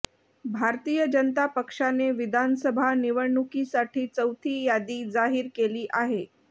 भारतीय जनता पक्षाने विधानसभा निवडणुकीसाठी चौथी यादी जाहीर केली आहे